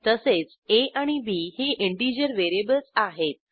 तसेच आ आणि बी ही इंटिजर व्हेरिएबल्स आहेत